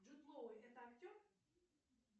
джуд лоу это актер